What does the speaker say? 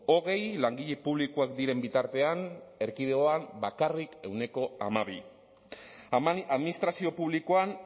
hogei langile publikoak diren bitartean erkidegoan bakarrik ehuneko hamabi administrazio publikoan